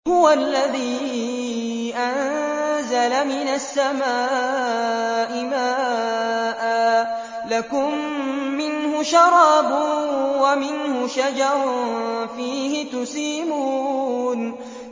هُوَ الَّذِي أَنزَلَ مِنَ السَّمَاءِ مَاءً ۖ لَّكُم مِّنْهُ شَرَابٌ وَمِنْهُ شَجَرٌ فِيهِ تُسِيمُونَ